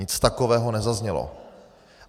Nic takového nezaznělo!